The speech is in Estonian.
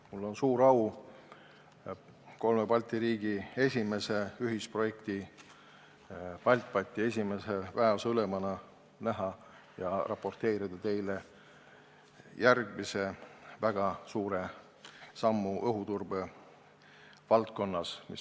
Mul on suur au kolme Balti riigi esimese ühisprojekti BALTBAT-i esimese väeosa ülemana näha ja raporteerida teile järgmisest väga suurest sammust õhuturbe valdkonnas.